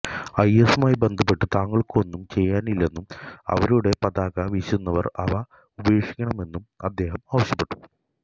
ഐഎസുമായി ബന്ധപ്പെട്ടു തങ്ങൾക്കൊന്നും ചെയ്യാനില്ലെന്നും അവരുടെ പതാക വീശുന്നവർ അവ ഉപേക്ഷിക്കണമെന്നും അദ്ദേഹം ആവശ്യപ്പെട്ടു